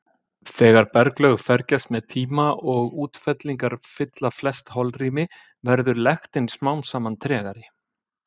Þegar berglög fergjast með tíma og útfellingar fylla flest holrými verður lektin smám saman tregari.